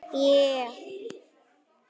Örlög Eikar banka ráðin